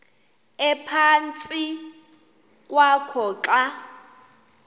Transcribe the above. ephantsi kwakho xa